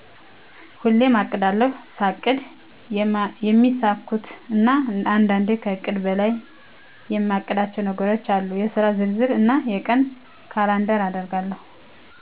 ሁሌሜ አቅዳለሁ። ሳቅድ የማሚሳኩኩ እና አንዳንዴ ከእቅድ በላይ የማቅዳቸው ነገሮቼ አሉ የስራ ዝርዝር እና የቀን ካላንደር አደርጋለሁ